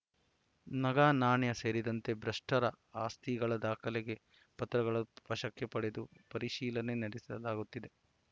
ನಗನಾಣ್ಯ ಸೇರಿದಂತೆ ಭ್ರಷ್ಟರ ಆಸ್ತಿಗಳ ದಾಖಲೆ ಪತ್ರಗಳ ವಶಕ್ಕೆ ಪಡೆದು ಪರಿಶೀಲನೆ ನಡೆಸಲಾಗುತ್ತಿದೆ